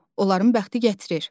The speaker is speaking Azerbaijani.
Onların bəxti gətirir.